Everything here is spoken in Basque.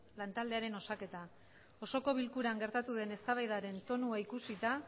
lan taldearen osaketa osoko bilkuran gertatu den eztabaidaren tonua ikusita